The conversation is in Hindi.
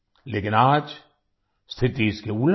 लेकिन आज स्थिति इसके उलट है